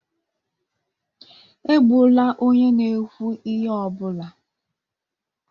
Egbula onye na-ekwu ihe ọ bụla